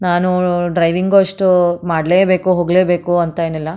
ನಾನೂ ಡ್ರೈವಿಂಗ್ ಅಷ್ಟು ಮಾಡ್ಲೇಬೇಕು ಹೋಗ್ಲೇಬೇಕು ಅಂತ ಏನಿಲ್ಲ.